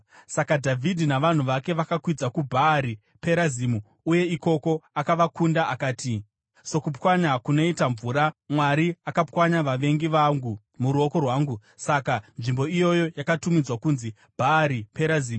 Saka Dhavhidhi navanhu vake vakakwidza kuBhaari Perazimu uye ikoko akavakunda akati, “Sokupwanya kunoita mvura, Mwari akapwanya vavengi vangu noruoko rwangu.” Saka nzvimbo iyoyo yakatumidzwa kunzi Bhaari Perazimu.